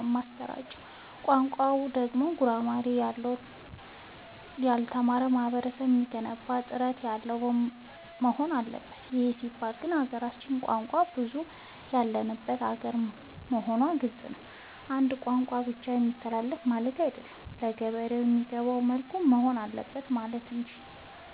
የማሰራጨው። ቋንቋው ደግሞ ጉራማይሌ ያሎነ ታች ላለው ላልተማረው ማህበረሰብ የሚገባ እና ጥርት ያለወሆን አለበት ይህ ሲባል ግን ሀገራችን የቋንቋ ብዙሀለት ያለባት ሀገር መሆኗ ግልፅ ነው። በአንድ ቋንቋ ብቻ ይተላለፍ ማለቴ አይደለም ለገበሬ በሚገባው መልኩ መሆን አለበት ማለት እንጂ።